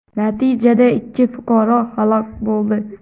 Natijada ikki fuqaro halok bo‘ldi.